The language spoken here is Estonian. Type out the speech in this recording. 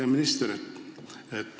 Hea minister!